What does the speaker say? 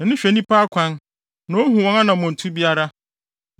“Nʼani hwɛ nnipa akwan; na ohu wɔn anammɔntu biara.